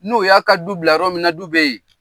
N'o y'a ka du bila yɔrɔ min na du bɛ yen.